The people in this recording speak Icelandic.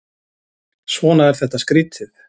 Svona er þetta skrýtið.